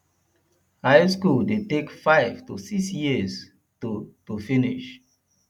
high school de take five to six years to to finish